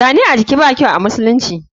Zane ajii ba kyau amusulunci.